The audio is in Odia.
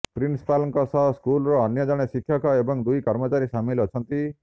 ପ୍ରିନ୍ସିପାଲଙ୍କ ସହ ସ୍କୁଲର ଅନ୍ୟ ଜଣେ ଶିକ୍ଷକ ଏବଂ ଦୁଇ କର୍ମଚାରୀ ସାମିଲ ଅଛନ୍ତି